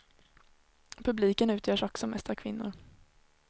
Publiken utgörs också mest av kvinnor.